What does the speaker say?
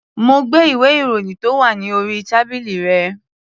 Mo gbé ìwé-ìròyìn tó wà ní orí tábìlì rẹ̀.